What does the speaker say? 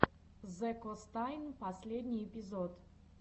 зэкостнайн последний эпизод